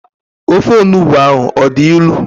Ofe onugbu ahụ ọ dị ilu?